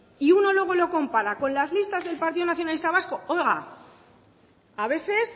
y una luego lo compara con las listas del partido nacionalista vasco oiga a veces